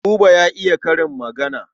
Buba ya iya karin magana.